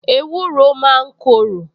Ewúro máa ń korò